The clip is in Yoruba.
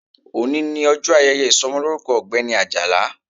Òní ni ọjọ́ ayẹyẹ ìsọmọlórúkọ ọ̀gbẹ́ni Àjàlá